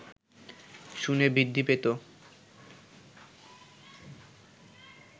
শুনে বৃদ্ধি পেত